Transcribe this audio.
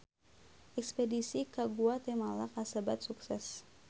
Espedisi ka Guatemala kasebat sukses